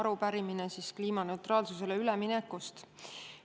Arupärimine on kliimaneutraalsusele ülemineku kohta.